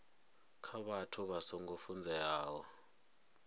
kha vhathu vha songo funzeaho